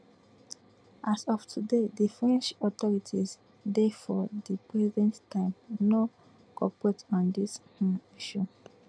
as of today di french authorities dey for di present time no cooperate on dis um issue